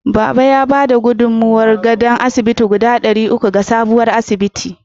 Baba ya ba da gudummawar gadon asibiti guda ɗari uku ga sabon asibitin.